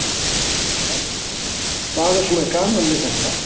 Hödd: Hvað er svona gaman við þetta?